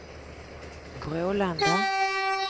Brålanda